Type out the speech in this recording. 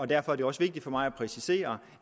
derfor er det også vigtigt for mig at præcisere